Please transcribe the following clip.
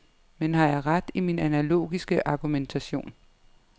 Men har jeg ret i min analogiske argumentation.